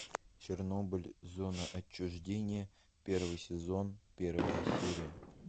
чернобыль зона отчуждения первый сезон первая серия